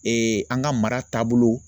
an ka mara taabolo